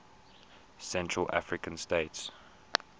central african states